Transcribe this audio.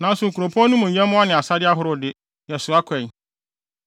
Nanso nkuropɔn no mu nyɛmmoa ne asade ahorow no de, yɛsoa kɔe.